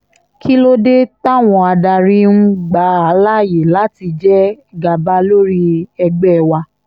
kí ló dé táwọn adarí ń gbà á láàyè láti jẹ gàba lórí ẹgbẹ́ wa